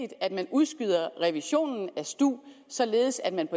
at man udskyder revisionen af stu således at man